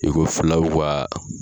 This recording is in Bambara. I ko filaw ka